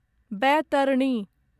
Baitarani